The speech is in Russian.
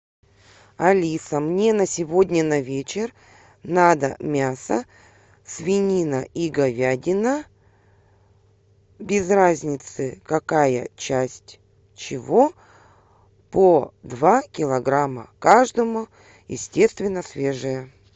алиса мне на сегодня на вечер надо мясо свинина и говядина без разницы какая часть чего по два килограмма каждого естественно свежее